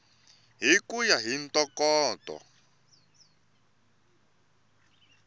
hi ku ya hi ntokoto